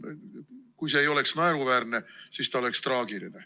Kui see ei oleks naeruväärne, siis see oleks traagiline.